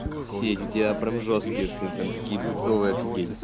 сеть в диапром жёсткие сны прям такие бредовые афигеть